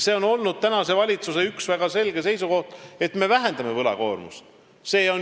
See on olnud praeguse valitsuse üks väga selge seisukoht: me vähendame võlakoormust.